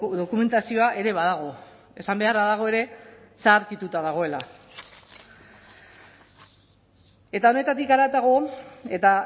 dokumentazioa ere badago esan beharra dago ere zaharkituta dagoela eta honetatik haratago eta